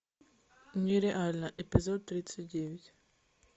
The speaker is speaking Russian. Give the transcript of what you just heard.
нереально эпизод тридцать девять